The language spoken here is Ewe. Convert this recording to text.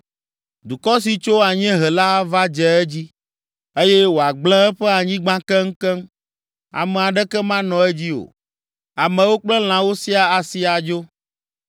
Dukɔ si tso anyiehe la ava dze edzi eye wòagblẽ eƒe anyigba keŋkeŋ. Ame aɖeke manɔ edzi o, amewo kple lãwo siaa asi adzo.”